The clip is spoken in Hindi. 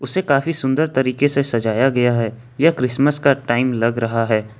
उसे काफी सुंदर तरीके से सजाया गया है यह क्रिसमस का टाइम लग रहा है।